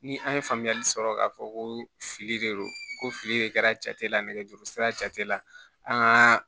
Ni an ye faamuyali sɔrɔ k'a fɔ ko fili de don ko fili de kɛra jate la nɛgɛjuru sira jate la an ka